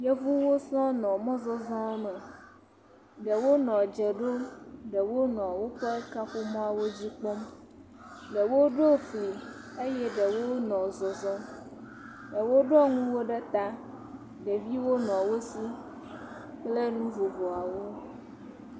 Yevuwo sɔŋ nɔ mɔzɔzɔme. Ɖewo nɔ dze ɖom, ɖewo nɔ woƒe kaƒomɔawo dzi kpɔm. Ɖewo ɖo fli eye ɖewo nɔ zɔzɔm. ɖewo ɖɔ nuwo ɖe ta. Ɖeviwo nɔ wo si kple nu vovoawo.